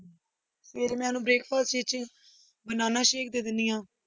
ਫਿਰ ਮੈਂ ਉਹਨੂੰ breakfast ਵਿੱਚ ਬਨਾਨਾ ਸ਼ੇਕ ਦੇ ਦਿੰਦੀ ਹਾਂ।